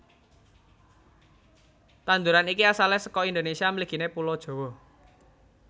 Tanduran iki asalé saka Indonésia mliginé Pulo Jawa